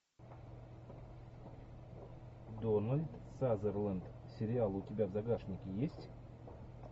дональд сазерленд сериал у тебя в загашнике есть